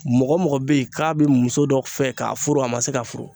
Mɔgɔ mɔgɔ bɛ yen k'a bɛ muso dɔ fɛ k'a furu a ma se k'a furu